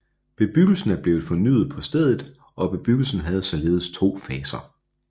Bebyggelsen er blevet fornyet på stedet og bebyggelsen havde således to faser